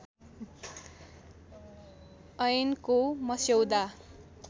ऐनको मस्यौदा